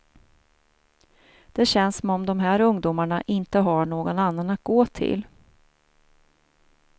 Det känns som om de här ungdomarna inte har någon annan att gå till.